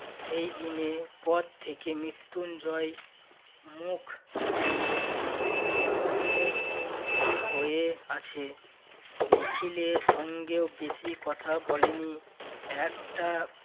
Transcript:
সেই দিনের পর থেকে মৃত্যুঞ্জয় মুখ ভীষণ্ণ গম্ভীর হয়ে আছে নিখিলের সঙ্গে বেশি কথা বলেনি একটা